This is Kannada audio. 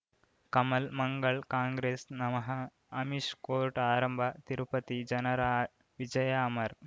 ಕಮಲ್ ಮಂಗಳ್ ಕಾಂಗ್ರೆಸ್ ನಮಃ ಅಮಿಷ್ ಕೋರ್ಟ್ ಆರಂಭ ತಿರುಪತಿ ಜನರ ವಿಜಯ ಅಮರ್